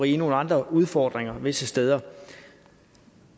i nogle andre udfordringer visse steder